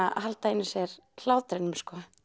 að halda í sér hlátrinum